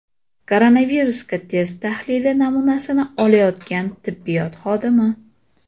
Koronavirusga test tahlili namunasini olayotgan tibbiyot xodimi.